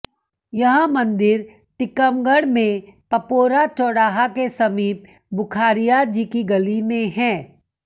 यह मंदिर टीकमगढ़ में पपौरा चौराहा के समीप बुख़ारिया जी की गली में है